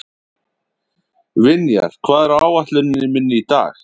Vinjar, hvað er á áætluninni minni í dag?